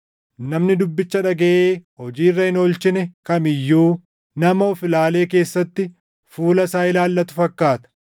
Namni dubbicha dhagaʼee hojii irra hin oolchine kam iyyuu nama of-ilaalee keessatti fuula isaa ilaallatu fakkaata;